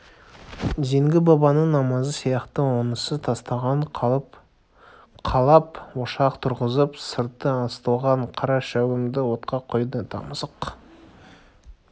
зеңгі бабаның намазы сияқты онысы тастан қалап ошақ тұрғызып сырты ысталған қара шәугімді отқа қойды тамызық